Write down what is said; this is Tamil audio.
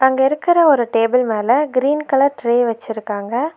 இங்க இருக்கிற ஒரு டேபிள் மேல கிரீன் கலர் ட்ரே வச்சிருக்காங்க.